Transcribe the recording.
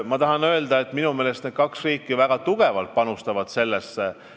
Ma tahan öelda, et minu meelest need kaks riiki väga tugevalt panustavad sellesse töösse.